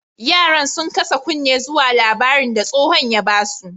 Yaran, sun kasa kunne zuwa labarin da stohon ya ba su.